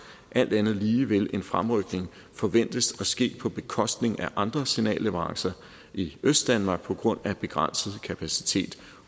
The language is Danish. alt andet lige vil en fremrykning forventes at ske på bekostning af andre signalleverancer i østdanmark på grund af begrænset kapacitet